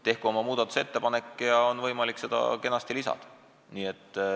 Tehku oma muudatusettepanek, see säte on võimalik kenasti eelnõusse lisada.